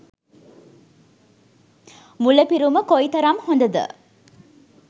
මුල පිරුම කොයිතරම් හොදද?